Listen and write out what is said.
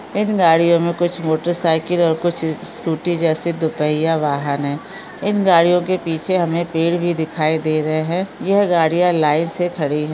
एक गाड़ी है उसमे कुछ मोटरसाइकल और कुछ स्क स्कूटी जैसी कुछ दुफय्या वाहन है इन गाड़ियों के पीछे हमे पेड़ भी दिखाई दे रहे है यह गाड़ियां लाइन से खड़े है।